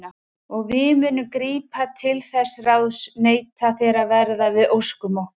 Og við munum grípa til þess ráðs neitið þér að verða við óskum okkar.